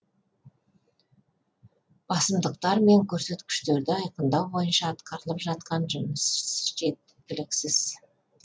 басымдықтар мен көрсеткіштерді айқындау бойынша атқарылып жатқан жұмыс жеткіліксіз